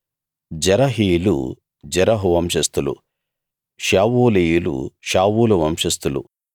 జెరహీయులు జెరహు వంశస్థులు షావూలీయులు షావూలు వంశస్థులు